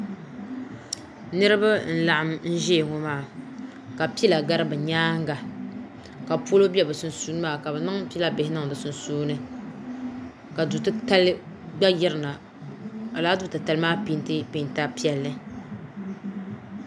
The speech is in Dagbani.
niriba n laɣim zaya ŋɔ maa ka pila gari be nyɛŋa ka polo bɛ be sunsuuni maa ka be niŋ pila bihi niŋ di sunsuuni maa ka du titali gba yirina ka laadutɛlai maa pɛntɛ pɛnta piɛli